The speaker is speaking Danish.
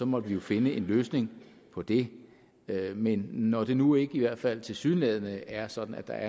måtte vi jo finde en løsning på det men når det nu i hvert fald tilsyneladende ikke er sådan at der